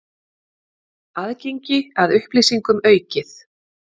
Aðgengi að upplýsingum aukið